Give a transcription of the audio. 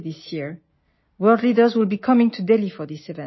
বিশ্বৰ নেতাসকলে এই অনুষ্ঠানটোৰ বাবে দিল্লীলৈ আহিব